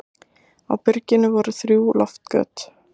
Á byrginu voru þrjú loftgöt.